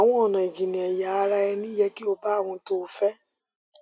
àwọn ọnà ìjìnnìẹyà ara ẹni yẹ kí ó bá ohun tó o fẹ